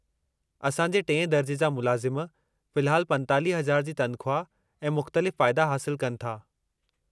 असां जे टिएं दरिजे जा मुलाज़िम फ़िलहालु 45,000 जी तनख़्वाह ऐं मुख़्तलिफ़ फ़ाइदा हासिलु कनि था।